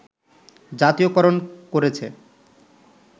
জাতীয়করণ করেছে